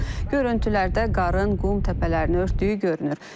Görüntülərdə qarın qum təpələrini örtdüyü görünür.